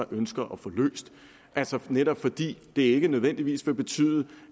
ønsker at få løst netop fordi det ikke nødvendigvis vil betyde